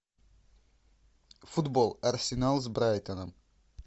футбол арсенал с брайтоном